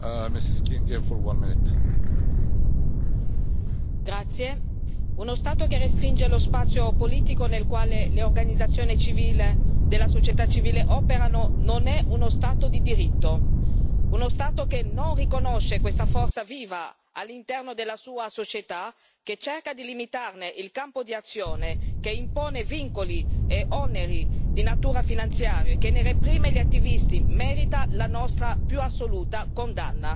Signor Presidente, onorevoli colleghi, uno Stato che restringe lo spazio politico nel quale le organizzazioni della società civile operano non è uno Stato di diritto. Uno Stato che non riconosce questa forza viva all'interno della sua società, che cerca di limitarne il campo di azione, che impone vincoli e oneri di natura finanziaria e che reprime gli attivisti merita la nostra più assoluta condanna.